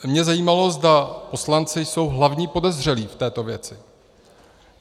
Mě zajímalo, zda poslanci jsou hlavní podezřelí v této věci.